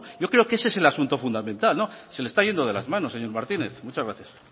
yo creo que ese es el asunto fundamental se le está yendo de las manos señor martínez muchas gracias